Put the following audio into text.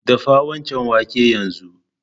Dafa waccan wake yanzu!